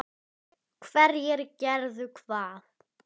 Hverjir gerðu hvað?